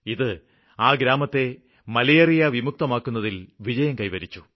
ഇത് ആ ഗ്രാമത്തെ മലേറിയവിമുക്തമാക്കുന്നതില് വിജയം കൈവരിച്ചു